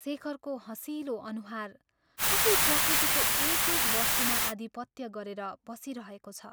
शेखरको हँसिलो अनुहार कसरी प्रकृतिको एक एक वस्तुमा आधिपत्य गरेर बसिरहेको छ।